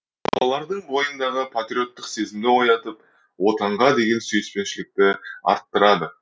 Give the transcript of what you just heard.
балалардың бойындағы патриоттық сезімді оятып отанға деген сүйіспеншілікті арттырады